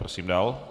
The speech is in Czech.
Prosím dále.